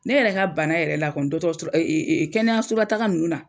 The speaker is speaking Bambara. Ne yɛrɛ ka bana yɛrɛ la kɔni, dɔgɔtɔrɔso la kɛnɛyaso lataka ninnu na.